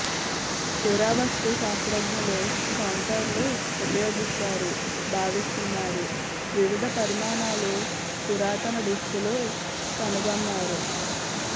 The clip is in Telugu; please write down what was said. పురావస్తు శాస్త్రజ్ఞులు కౌంటర్లు ఉపయోగిస్తారు భావిస్తున్నారు వివిధ పరిమాణాలు పురాతన డిస్కులు కనుగొన్నారు